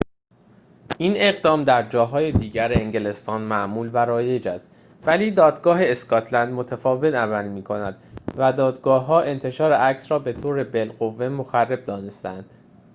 این اقدام در جاهای دیگر انگلستان معمول و رایج است ولی دادگاه اسکاتلند متفاوت عمل می‌کند و دادگاه‌ها انتشار عکس‌ها را بطور بالقوه مخرب دانسته‌اند